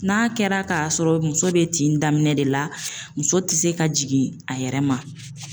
N'a kɛra k'a sɔrɔ muso be tin daminɛ de la, muso tɛ se ka jigin a yɛrɛ ma.